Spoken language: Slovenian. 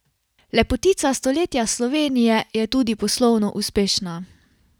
Lepotica stoletja Slovenije je tudi poslovno uspešna.